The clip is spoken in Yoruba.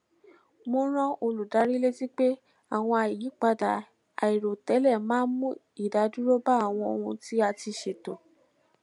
mo rán olùdarí létí pé àwọn àyípadà airotẹlẹ máa ń mu idaduro ba awọn ohun ti a ti ṣeto